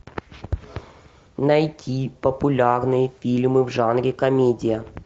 найти популярные фильмы в жанре комедия